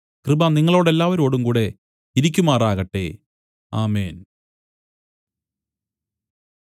കൃപ നിങ്ങളോടെല്ലാവരോടുംകൂടെ ഇരിക്കുമാറാകട്ടെ ആമേൻ